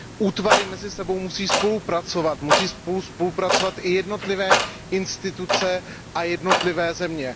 Útvary mezi sebou musí spolupracovat, musí spolu spolupracovat i jednotlivé instituce a jednotlivé země.